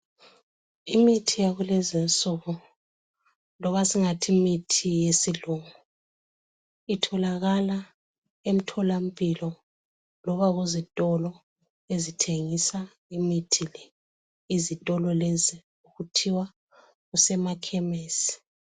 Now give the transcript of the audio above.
Imithi yakulezinsuku loba singathi imithi yesilungu itholakala emtholampilo loba kuzitolo ezithengisa imithi le. Izitolo lezi kuthiwa kusemakhemesi.